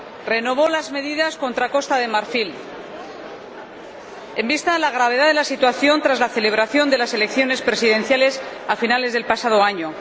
renovó las medidas contra Costa de Marfil en vista de la gravedad de la situación tras la celebración de las elecciones presidenciales a finales del pasado año.